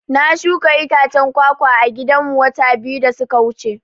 Na shuka itacen kwa-kwa a gidan mu wata biyu da suka wuce